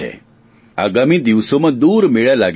આગામી દિવસોમાં દૂર મેળા લાગ્યા હશે